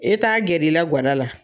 E t'a gɛr'i la ga da la